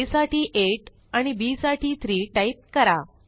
आ साठी 8 आणि बी साठी 3 टाईप करा